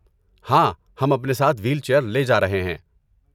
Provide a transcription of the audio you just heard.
ہاں، ہم اپنے ساتھ وہیل چیئر لے جا رہے ہیں۔